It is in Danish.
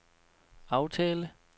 aftale